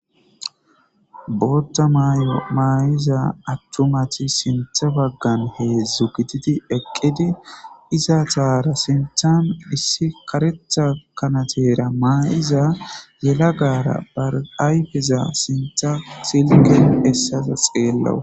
bootta mayo maayiza aththumati sintha baggan heedzzu gititi eqqidi iza taara sinthan issi karetha kanatera maa7iza yela gara barayfeza sintha silken essasa xeellawus